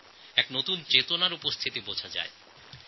এক নতুন চেতনা অনুভব হচ্ছে